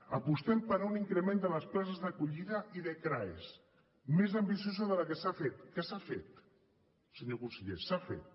apostem per un increment de les places d’acollida i de craes més ambiciós del que s’ha fet que s’ha fet senyor conseller s’ha fet